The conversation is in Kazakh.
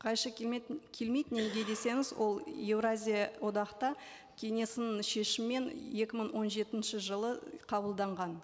қайшы келмейді неге десеңіз ол еуразия одақта кеңесінің шешімімен екі мың он жетінші жылы қабылданған